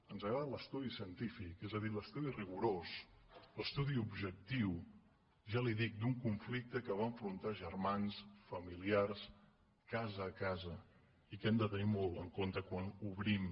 ens agrada l’estudi científic és a dir l’estudi rigorós l’estudi objectiu ja li dic d’un conflicte que va enfrontar germans familiars casa a casa i que hem de tenir molt en compte quan obrim